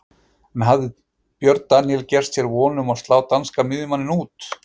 En hafði Björn Daníel gert sér von um að slá danska miðjumanninn út?